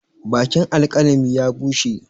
Bakin alkalami ya bushe.